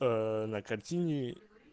на картине